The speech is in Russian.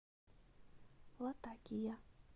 латакия